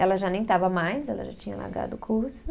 Ela já nem estava mais, ela já tinha largado o curso.